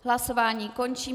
Hlasování končím.